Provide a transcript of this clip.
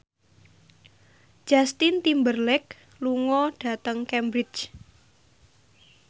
Justin Timberlake lunga dhateng Cambridge